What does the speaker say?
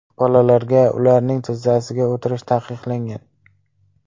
Bolalarga ularning tizzasiga o‘tirish taqiqlangan .